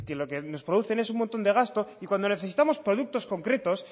lo que nos producen es un montón de gasto y cuando necesitamos productos concretos